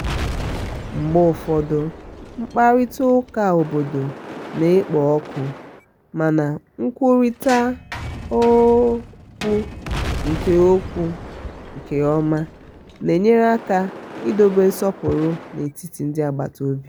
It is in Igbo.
mgbe ụfọdụmkparịta ụka obodo na-ekpo ọkụmana nkwurịta okwu nke okwu nke ọma na-enyere aka idobe nsọpụrụ n'etiti ndị agbata obi.